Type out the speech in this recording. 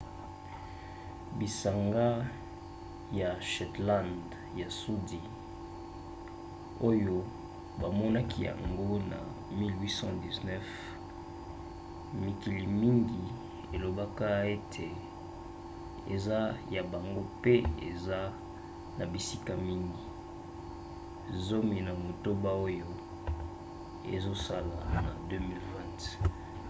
bisanga ya shetland ya sudi oyo bamonaki yango na 1819 mikili mingi elobaka ete eza ya bango mpe eza na bisika mingi zomi na motoba oyo ezosala na 2020